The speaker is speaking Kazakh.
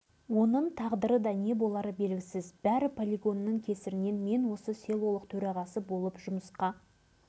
мен жылы әскер қатарынан осы малдар селосына келгенімде деген бастығы кенжебаев ерғали деген кісі еді